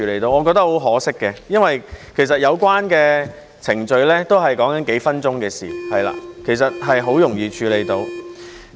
我覺得很可惜，因為其實有關程序也是數分鐘的事情，很容易便能處理。